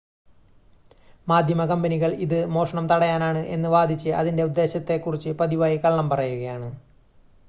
"മാധ്യമ കമ്പനികൾ, ഇത് "മോഷണം തടയാനാണ്" എന്ന് വാദിച്ച് ഇതിന്റെ ഉദ്ദേശ്യത്തെ കുറിച്ച് പതിവായി കള്ളം പറയുകയാണ്.